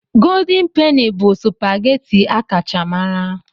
Golden Peni bụ supageti a kacha mara.